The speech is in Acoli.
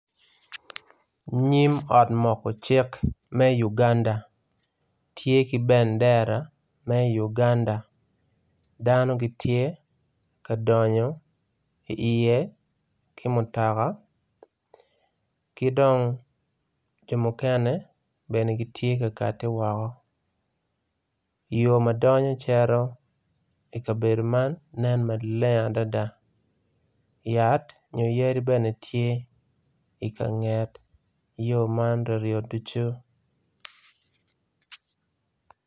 Nyim ot moko cik me uganda tye ki bendera me uganda, dano gitye ka donyo iye ki mutoka, ki dong jo mukene, bene gitye ka kati woko. Yo ma donyo cito i kabedo man, nen maleng adada yat nyo yadi bene tye ka nget yo man ryo ryo ducu.